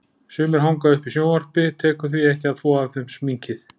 Sumir hanga uppi í sjónvarpi, tekur því ekki að þvo af þeim sminkið.